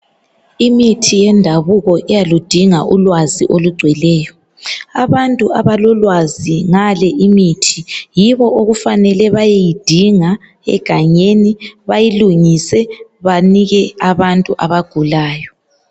Imithi yendabuko iyaludinga ulwazi olugcweleyo. Abantu abalolwazi ngale imithi yibo okufanele bayeyidinga egangeni bayilungise banike abantu abagulayo.